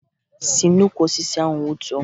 Si n'ukwu osisi ahụ wutuo!